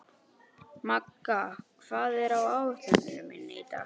Magga, hvað er á áætluninni minni í dag?